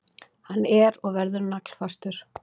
Hann er og verður naglfastur.